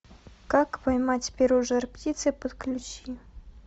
как поймать перо жар птицы подключи